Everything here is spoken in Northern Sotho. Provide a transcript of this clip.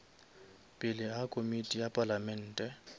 pele ga komiti ya palamente